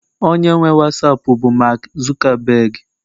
onye nwe wasapu bụ mark Zuckerberg